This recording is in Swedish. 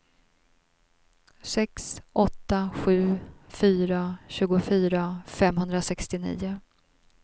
sex åtta sju fyra tjugofyra femhundrasextionio